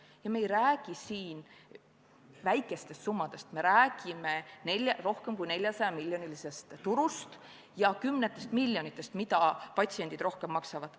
Ning me ei räägi väikestest summadest, me räägime rohkem kui 400-miljonilisest turust ja kümnetest miljonitest eurodest, mida patsiendid rohkem maksavad.